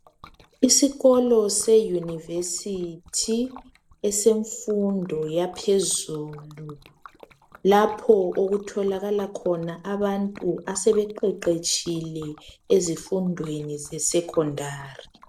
Isikolo se university esemfundo yaphezulu lapho okutholakala khona abantu asebe qeqetshile ezifundweni zesecondary.